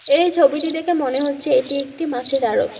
এই ছবিটি দেখে মনে হচ্ছে এটি একটি মাছের আরত।